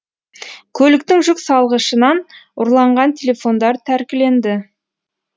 көліктің жүк салғышынан ұрланған телефондар тәркіленді